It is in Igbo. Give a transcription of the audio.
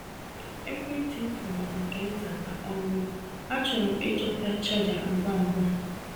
Ekwentị m fọrọ nke nta ka ọ nyụọ; achọrọ m ịchọta chaja ngwa ngwa.